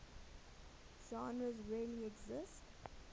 genres really exist